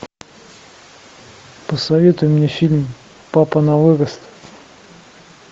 посоветуй мне фильм папа на вырост